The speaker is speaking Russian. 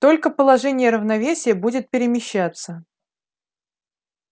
только положение равновесия будет перемещаться